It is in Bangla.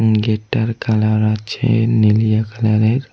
গেট টার কালার আছে নিলিয়া কালার এর।